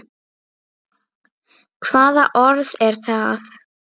Hvaða orð er það?